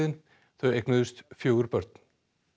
þau eignuðust fjögur börn